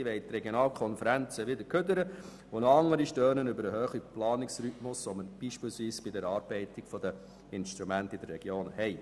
Andere wollen die Regionalkonferenzen in den Abfall werfen und noch andere stören sich am hohen Planungsrhythmus, den wir beispielsweise bei der Erarbeitung der Instrumente in den Regionen haben.